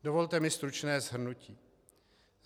Dovolte mi stručné shrnutí.